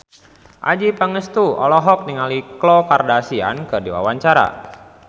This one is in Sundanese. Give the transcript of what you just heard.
Adjie Pangestu olohok ningali Khloe Kardashian keur diwawancara